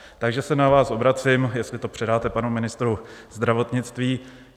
Takže se na vás obracím, jestli to předáte panu ministrovi zdravotnictví.